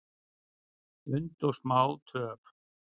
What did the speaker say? und og smá töf,